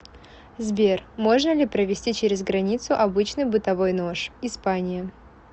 сбер можно ли провезти через границу обычный бытовой нож испания